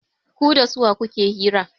Ku da suwa kuke hira?